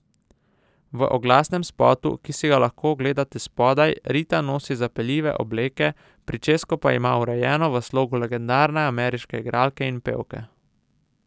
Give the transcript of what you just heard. V oglasnem spotu, ki si ga lahko ogledate spodaj, Rita nosi zapeljive obleke, pričesko pa ima urejeno v slogu legendarne ameriške igralke in pevke.